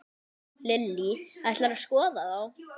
Lillý: Ætlarðu að skoða þá?